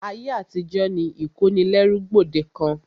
Ayé àtijó ni ìkónilẹ́rú gbòdekàn.